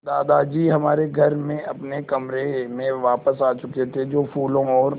दादाजी हमारे घर में अपने कमरे में वापस आ चुके थे जो फूलों और